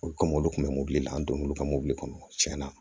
Olu kɔmi olu kun bɛ mɔbili la an donn'olu ka mobili kɔnɔ cɛn na